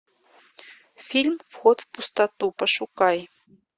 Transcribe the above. фильм вход в пустоту пошукай